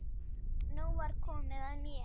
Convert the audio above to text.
Nú var komið að mér.